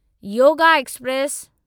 yoga express